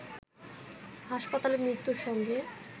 হাসপাতালে মৃত্যুর সঙ্গে